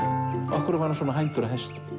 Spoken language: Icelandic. af hverju var hann svona hændur að hestum